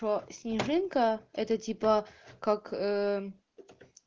то снежинка это типа как ээ